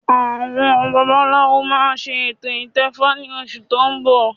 Àwọn babaláwo máa ṣe ètò ìtẹfa ní oṣù tó ń bọ̀